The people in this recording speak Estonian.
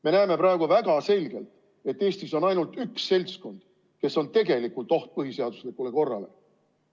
Me näeme praegu väga selgelt, et Eestis on ainult üks seltskond, kes on tegelikult oht põhiseaduslikule korrale.